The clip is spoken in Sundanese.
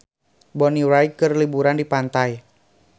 Bonnie Wright keur liburan di pantai